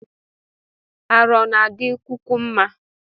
Arụ ọna adi kwukwu mma?